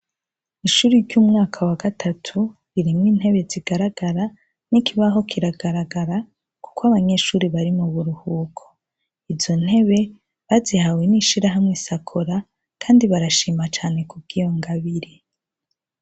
Ishuri ry'umwaka wa gatatu ririmw'intebe zigaragara, n'ikibaho kiragaragara kuk'abanyeshuri bari mu buruhuko. Izo ntebe bazihawe n'ishirahamwe SACOLA kandi barashima cane kubw'iyo ngabire.